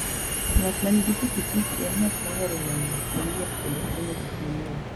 Ng'at ma nigi pikipiki, en ng'at mohero nono gik manyien kendo fwenyo gik manyien.